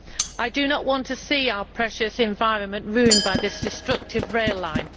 I do not want to see our precious environment ruined by this destructive rail line.